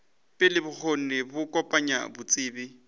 pele bokgoni bja kopanya botsebi